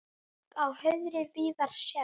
Berg á hauðri víða sérð.